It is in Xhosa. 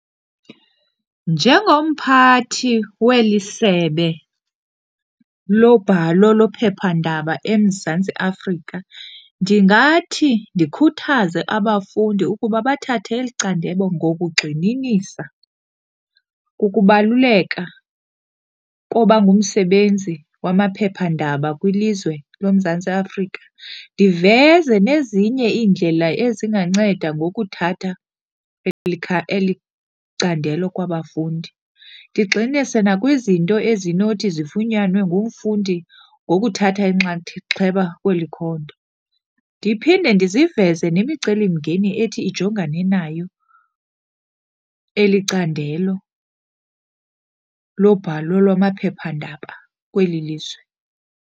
Njengomphathi weli sebe lobhalo lephephandaba eMzantsi Afrika, ndingathi ndikhuthaze abafundi ukuba bathathe eli candelo ngokugxininisa kukubaluleka koba ngumsebenzi wamaphephandaba kwilizwe loMzantsi Afrika. Ndiveze nezinye iindlela ezinganceda ngokuthatha eli eli candelo kwabafundi. Ndigxininise nakwizinto ezinothi zifunyanwe ngumfundi ngokuthatha inxaxheba kweli khondo. Ndiphinde ndiziveze nemicelimngeni ethi ijongane nayo eli candelo lobhalo lwamaphephandaba kweli lizwe.